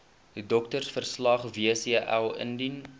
doktersverslag wcl indien